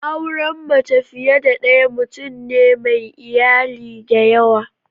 Auren mace fiye da daya mutum ne mai iyali dayawa.